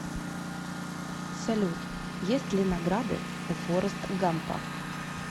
салют есть ли награды у форрест гампа